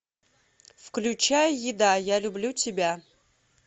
включай еда я люблю тебя